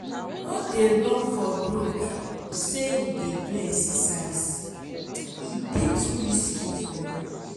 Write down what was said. no dey run for road sey you dey do exercise e dey too risky for you.